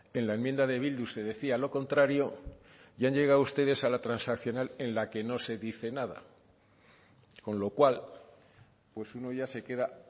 en la enmienda de bildu se decía lo contrario y han llegado ustedes a la transaccional en la que no se dice nada con lo cual pues uno ya se queda